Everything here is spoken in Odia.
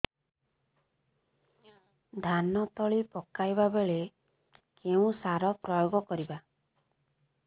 ଧାନ ତଳି ପକାଇବା ବେଳେ କେଉଁ ସାର ପ୍ରୟୋଗ କରିବା